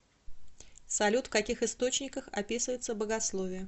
салют в каких источниках описывается богословие